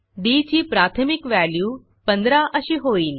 D ची प्राथमिक value 15 अशी होईल